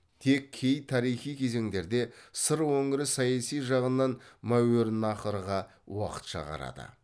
тек кей тарихи кезеңдерде сыр өңірі саяси жағынан мәуереннахрға уақытша қарады